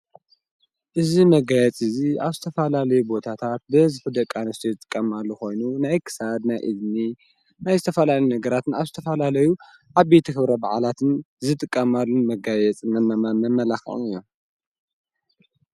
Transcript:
እዝ ነጋያት እዙይ ኣብስተፋላለዩ ቦታታት በዝ ፊ ደቃንስቶ ዝጥቃማሉ ኾይኑ ንኤክሳድ ናይ እድኒ ናይ ስተፈላኒ ነገራትን ኣብስተፋላለዩ ዓብተኽብረ ብዕላትን ዝጥቃማሉን መጋየጽንን መመመ መላኽም እዮም።